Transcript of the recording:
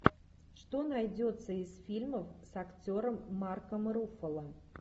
что найдется из фильмов с актером марком руффало